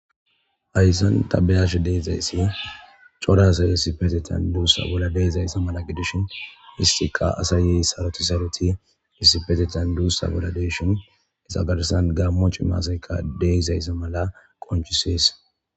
hayssan tabeyasha deezayssaa cora saye sipetetan duussa bolla deezayssa mala gedishin istiqa asaye saroti saloti issifetetan duussa bolla deeshon isa garsan gaammo ci maasayka deysayssa mala qonchisees